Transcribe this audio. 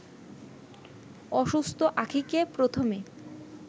অসুস্থ আখিঁকে প্রথমে